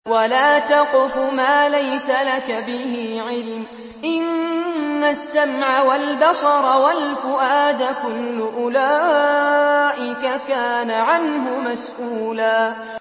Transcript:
وَلَا تَقْفُ مَا لَيْسَ لَكَ بِهِ عِلْمٌ ۚ إِنَّ السَّمْعَ وَالْبَصَرَ وَالْفُؤَادَ كُلُّ أُولَٰئِكَ كَانَ عَنْهُ مَسْئُولًا